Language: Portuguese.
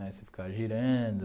Né você ficava girando.